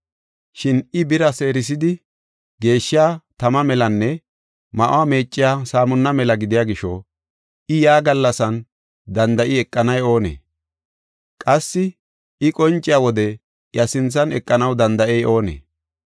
Shin I bira seerisidi geeshshiya tama melanne ma7uwa meeciya saamuna mela gidiya gisho, I yaa gallasan danda7i eqanay oonee? Qassi I qonciya wode iya sinthan eqanaw danda7ey oonee?